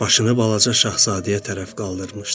Başını Balaca Şahzadəyə tərəf qaldırmışdı.